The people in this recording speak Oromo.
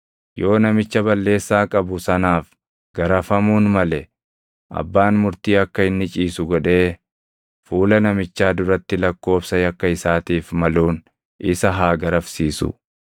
Yoo namicha balleessaa qabu sanaaf garafamuun male abbaan murtii akka inni ciisu godhee fuula namichaa duratti lakkoobsa yakka isaatiif maluun isa haa garafsiisu;